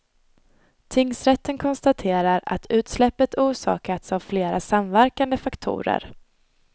Tingsrätten konstaterar att utsläppet orsakats av flera samverkande faktorer.